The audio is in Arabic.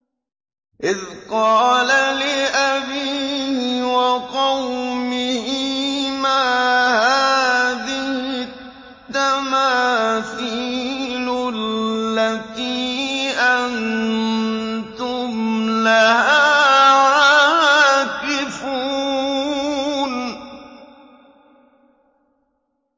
إِذْ قَالَ لِأَبِيهِ وَقَوْمِهِ مَا هَٰذِهِ التَّمَاثِيلُ الَّتِي أَنتُمْ لَهَا عَاكِفُونَ